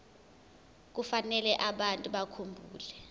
kufanele abantu bakhumbule